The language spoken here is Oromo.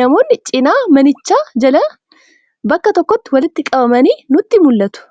namoonni cinaa manichaa jalaan bakka tokkotti walitti qabamanii nutti mul'atu.